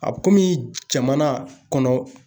A bɛ kɔmi jamana kɔnɔ.